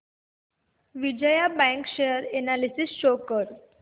Vijaya bank share analysis show कर